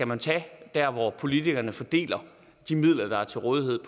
man tage der hvor politikerne fordeler de midler der er til rådighed